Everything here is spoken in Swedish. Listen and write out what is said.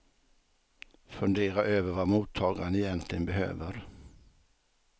Fundera över vad mottagaren egentligen behöver.